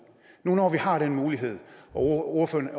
når vi nu har den mulighed og når ordføreren